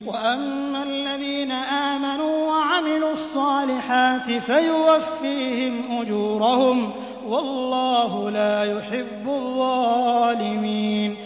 وَأَمَّا الَّذِينَ آمَنُوا وَعَمِلُوا الصَّالِحَاتِ فَيُوَفِّيهِمْ أُجُورَهُمْ ۗ وَاللَّهُ لَا يُحِبُّ الظَّالِمِينَ